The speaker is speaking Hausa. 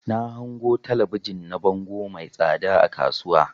Na hango talabijin na bango mai tsada a kasuwa.